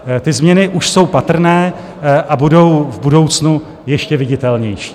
Ty změny už jsou patrné a budou v budoucnu ještě viditelnější.